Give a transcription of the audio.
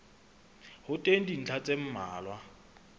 ho teng dintlha tse mmalwa